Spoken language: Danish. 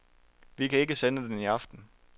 Vi kan ikke sende den i aften.